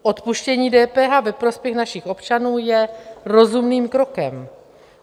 Odpuštění DPH ve prospěch našich občanů je rozumným krokem.